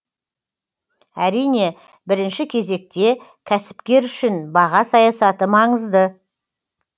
әрине бірінші кезекте кәсіпкер үшін баға саясаты маңызды